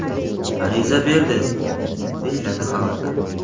ariza berdi”, deyiladi xabarda.